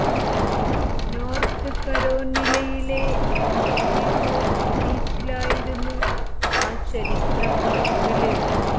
north കരോനിലയിലെ Kitty Hawk ബീച്ചിലായിരുന്നു ആ ചരിത്ര പറക്കല്